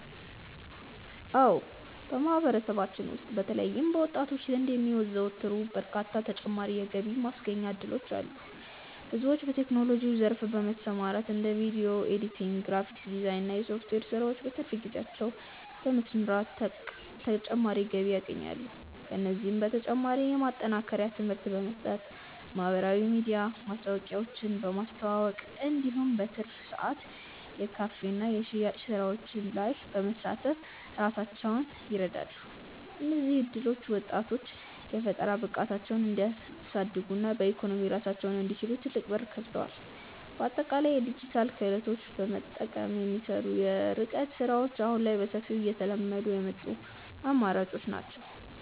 አዎ በማህበረሰባችን ውስጥ በተለይም በወጣቶች ዘንድ የሚዘወተሩ በርካታ ተጨማሪ የገቢ ማስገኛ እድሎች አሉ። ብዙዎች በቴክኖሎጂው ዘርፍ በመሰማራት እንደ ቪዲዮ ኤዲቲንግ፣ ግራፊክስ ዲዛይን እና የሶፍትዌር ስራዎችን በትርፍ ጊዜያቸው በመስራት ተጨማሪ ገቢ ያገኛሉ። ከእነዚህም በተጨማሪ የማጠናከሪያ ትምህርት በመስጠት፣ በማህበራዊ ሚዲያ ማስታወቂያዎችን በማስተዋወቅ እንዲሁም በትርፍ ሰዓት የካፌና የሽያጭ ስራዎች ላይ በመሳተፍ ራሳቸውን ይረዳሉ። እነዚህ እድሎች ወጣቶች የፈጠራ ብቃታቸውን እንዲያሳድጉና በኢኮኖሚ ራሳቸውን እንዲችሉ ትልቅ በር ከፍተዋል። በአጠቃላይ የዲጂታል ክህሎትን በመጠቀም የሚሰሩ የርቀት ስራዎች አሁን ላይ በሰፊው እየተለመዱ የመጡ አማራጮች ናቸው።